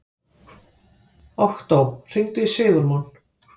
Októ, hringdu í Sigurmon.